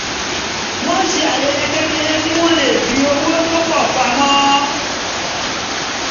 wọ́n ṣe ayẹyẹ kékeré kí wọ́n lè fi owó tó pọ̀ pamọ́